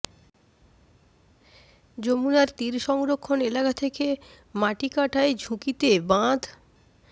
যমুনার তীর সংরক্ষণ এলাকা থেকে মাটি কাটায় ঝুঁকিতে বাঁধ